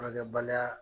Furakɛbaliya